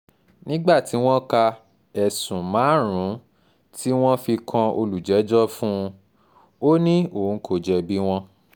nígbà tí wọ́n ka ẹ̀sùn márààrún-ún tí wọ́n fi kan olùjẹ́jọ́ fún un ó ní òun kò jẹ̀bi wọn